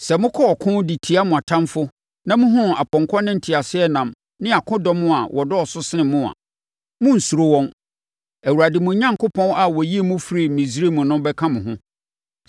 Sɛ mokɔ ɔko de tia mo atamfoɔ na mohunu apɔnkɔ ne nteaseɛnam ne akodɔm a wɔdɔɔso sen mo a, monnsuro wɔn. Awurade, mo Onyankopɔn, a ɔyii mo firii Misraim no bɛka mo ho.